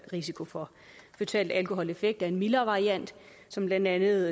risiko for føtale alkoholeffekter er en mildere variant som blandt andet